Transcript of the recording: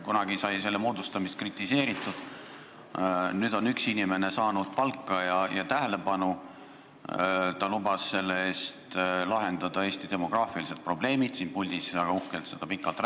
Kunagi sai selle komisjoni moodustamist kritiseeritud, nüüd on üks inimene saanud palka ja tähelepanu, ta lubas selle eest lahendada Eesti demograafilised probleemid, ta siin puldis väga uhkelt rääkis sellest pikalt.